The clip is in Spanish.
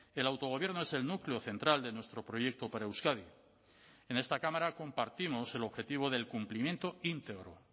el autogobierno es el núcleo central de nuestro proyecto para euskadi en esta cámara compartimos el objetivo del cumplimiento íntegro